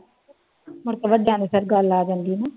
ਮੁੜਕੇ ਵੱਡਿਆਂ ਤੇ ਫਿਰ ਗੱਲ ਆ ਜਾਂਦੀ ਹੈ ਨਾ।